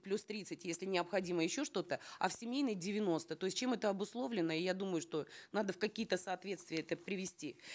плюс тридцать если необходимо еще что то а в семейной деяносто то есть чем это обусловлено я думаю что надо в какие то соответствия это привести